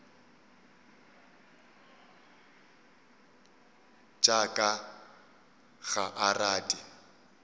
tša ka ga a rate